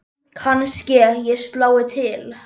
Kannske ég slái til.